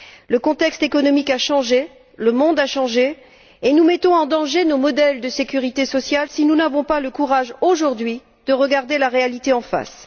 Le contexte économique a changé, le monde a changé, et nous mettons en danger nos modèles de sécurité sociale, si nous n'avons pas le courage, aujourd'hui, de regarder la réalité en face.